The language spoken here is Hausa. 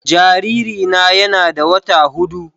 Jaririna yana da wata hudu